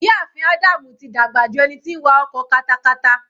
Ìyá ààfin Ádámù tí dàgbà ju ẹni tí ń wa ọkọ katakata.